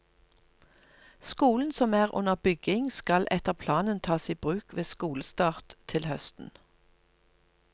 Skolen som er under bygging, skal etter planen tas i bruk ved skolestart til høsten.